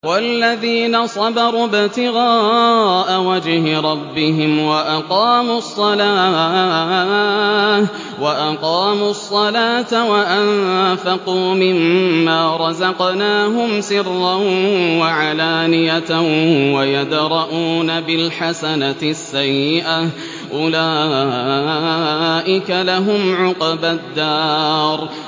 وَالَّذِينَ صَبَرُوا ابْتِغَاءَ وَجْهِ رَبِّهِمْ وَأَقَامُوا الصَّلَاةَ وَأَنفَقُوا مِمَّا رَزَقْنَاهُمْ سِرًّا وَعَلَانِيَةً وَيَدْرَءُونَ بِالْحَسَنَةِ السَّيِّئَةَ أُولَٰئِكَ لَهُمْ عُقْبَى الدَّارِ